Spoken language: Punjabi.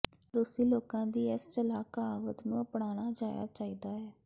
ਰੂਸੀ ਲੋਕਾਂ ਦੀ ਇਸ ਚਲਾਕ ਕਹਾਵਤ ਨੂੰ ਅਪਣਾਇਆ ਜਾਣਾ ਚਾਹੀਦਾ ਹੈ